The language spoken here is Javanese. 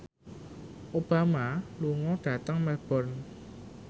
Obama lunga dhateng Melbourne